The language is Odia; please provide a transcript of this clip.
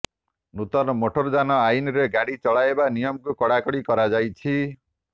ନୂତନ ମୋଟର୍ ଯାନ ଆଇନରେ ଗାଡ଼ି ଚଲାଇବା ନିୟମକୁ କଡ଼ାକଡ଼ି କରାଯାଇଛି